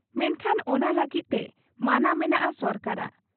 ᱢᱮᱱᱠᱷᱟᱱ ᱚᱱᱟ ᱞᱟᱹᱜᱤᱫ ᱛᱮ ᱢᱟᱱᱟ ᱢᱮᱱᱟᱜ ᱟ ᱥᱚᱨᱠᱟᱨᱟᱜ ᱾